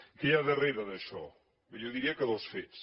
què hi ha darrere d’això jo diria que dos fets